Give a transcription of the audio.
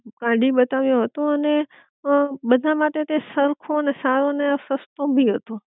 કાઢી બતાવ્યો હતો, અને અ બધા માટે તે સરખો ને સારો ને સસ્તો ભી હતો